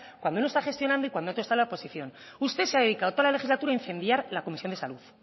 cuando uno está gestionando y cuando otro está en la oposición usted se ha dedicado toda la legislatura a incendiar la comisión de salud